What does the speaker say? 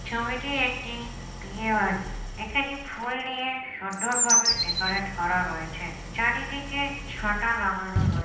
ছবিটি একটি বিয়ে বাড়ির। এখানে ফুল দিয়ে সুন্দরভাবে ডেকরেট করা রয়েছে। চারিদিকে ছাতা লাগানো রয়ে--